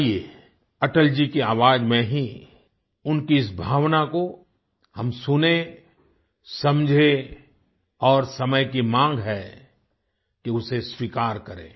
आइए अटल जी की आवाज़ में ही उनकी इस भावना को हम सुनें समझें और समय की मांग है कि उसे स्वीकार करें